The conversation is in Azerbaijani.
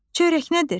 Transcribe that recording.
Çörək nədir?